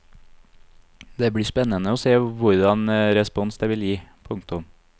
Det blir spennende å se hvordan respons det vil gi. punktum